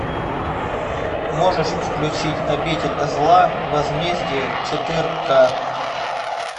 можешь включить обитель зла возмездие четыре ка